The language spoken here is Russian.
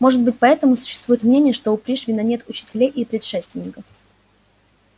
может быть поэтому существует мнение что у пришвина нет учителей и предшественников